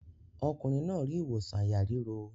Ọkùnrin náà rí ìwòsàn àyà ríro.